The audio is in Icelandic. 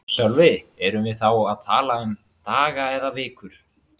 Sölvi: Erum við þá að tala um daga eða vikur?